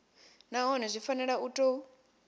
nahone zwi fanela u tou